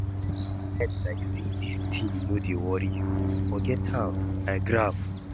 Why you dey pre ten d like say dis thing no dey worry you? Forget am, I grab